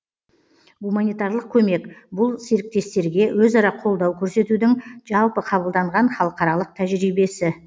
гуманитарлық көмек бұл серіктестерге өзара қолдау көрсетудің жалпы қабылданған халықаралық тәжірибесі